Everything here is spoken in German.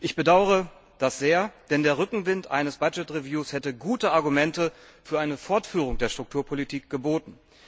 Ich bedaure das sehr, denn der Rückenwind eines Budget Reviews hätte gute Argumente für eine Fortführung der Strukturpolitik geboten.